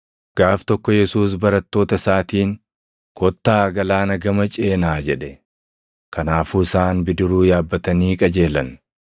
Gaaf tokko Yesuus barattoota isaatiin, “Kottaa galaana gama ceenaa” jedhe. Kanaafuu isaan bidiruu yaabbatanii qajeelan.